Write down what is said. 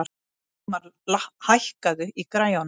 Sigmar, hækkaðu í græjunum.